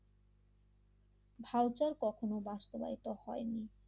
Voucher কখনো বাস্তবায়িত হয়নি।